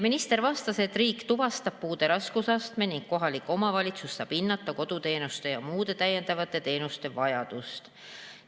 Minister vastas, et riik tuvastab puude raskusastme ning kohalik omavalitsus saab hinnata koduteenuste ja muude täiendavate teenuste vajadust.